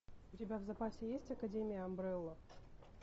у тебя в запасе есть академия амбрелла